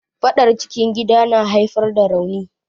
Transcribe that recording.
Faɗar cikin gida na haifar da rauni.